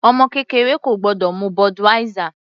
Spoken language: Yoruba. Ọmọ kékeré kò gbọ́dọ̀ mu Budweiser.